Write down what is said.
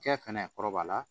Cɛ fɛnɛ kɔrɔbaya la